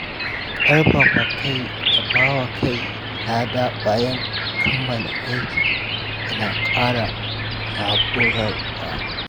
Ƙarfafa kai da ba wa kai lada bayan kammala aiki yana ƙara zaburarwa.